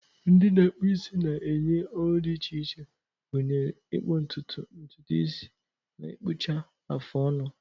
Ndi na-akpu isi na-enye ọrụ dị iche iche, gụnyere ịkpụ ntutu, ntutu isi, na ịkpụcha afụ ọnụ.